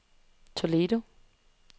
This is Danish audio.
Toledo